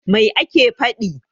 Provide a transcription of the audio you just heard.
Mai yake faɗi?